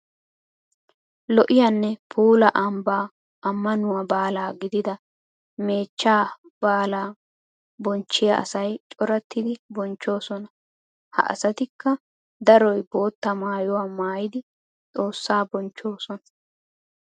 Lo'iyanne puula ambban amanuwa baala giddida meechcha baala bonchchiya asay corattiddi bonchchosonna. Ha asattikka daroy bootta maayuwa maayiddi xoossa bonchchosonna.